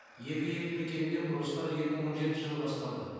екі елді мекенде құрылыстар екі мың он жетінші жылы басталды